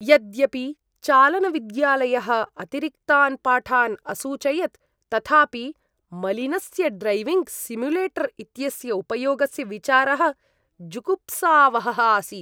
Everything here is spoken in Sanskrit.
यद्यपि चालनविद्यालयः अतिरिक्तान् पाठान् असूचयत्, तथापि मलिनस्य ड्रैविंग् सिम्युलेटर् इत्यस्य उपयोगस्य विचारः जुगुप्सावहः आसीत्।